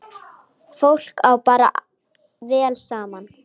Fólk á bara vel saman.